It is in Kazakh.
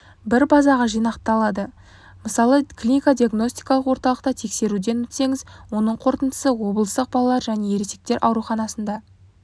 бір базаға жинақталады мысалы клинико-диагностикалық орталықта тексеруден өтсеңіз оның қорытындысы облыстық балалар және ересектер ауруханасында